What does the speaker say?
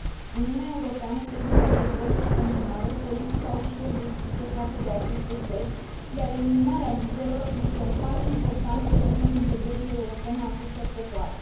Uniunea Europeană trebuie să dezvolte în continuare politica ușilor deschise față de aceste țări, iar eliminarea vizelor este un pas important pe drumul integrării europene a acestor popoare.